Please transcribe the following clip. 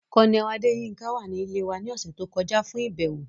Colonel Adeyinka wa ni ile wa ni ọsẹ to kọja fun ibẹwo.